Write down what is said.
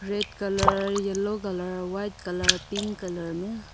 Red colour yellow colour white colour pink colour में।